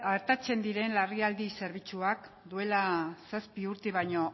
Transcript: artatzen diren larrialdi zerbitzuak duela zazpi urte baino